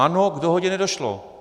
Ano, k dohodě nedošlo.